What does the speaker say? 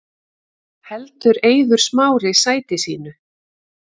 Heldur Eiður Smári sæti sínu